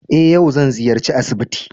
Eh yau zan ziyarci asibiti.